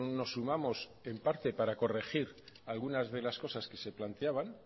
nos sumamos en parte para corregir algunas de las cosas que se planteaban